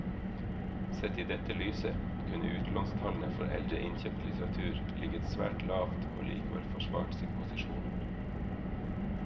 Sett i dette lyset kunne utlånstallene for eldre innkjøpt litteratur ligget svært lavt og likevel forsvart sin posisjon.